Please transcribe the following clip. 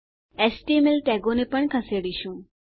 HTML ટેગોને પણ ખસેડીશું